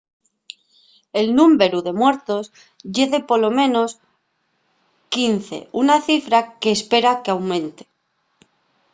el númberu de muertos ye de polo menos 15 una cifra que s’espera qu’aumente